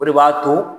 O de b'a to